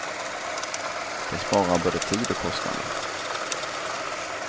Det sparar både tid och kostnader.